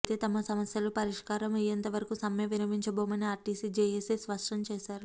అయితే తమ సమస్యలు పరిష్కారమయ్యేంతవరకు సమ్మె విరమించబోమని ఆర్టీసీ జేఏసీ స్పష్టం చేశారు